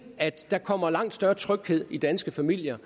at der kommer langt større tryghed i danske familier